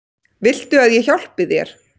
Viltu að ég hjálpi þér?